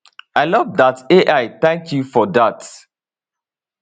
i love dat ai thank you for dat